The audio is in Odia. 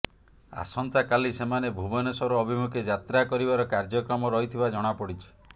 ଆସନ୍ତାକାଲି ସେମାନେ ଭୁବନେଶ୍ୱର ଅଭିମୁଖେ ଯାତ୍ରା କରିବାର କାର୍ଯ୍ୟକ୍ରମ ରହିଥିବା ଜଣାପଡିଛି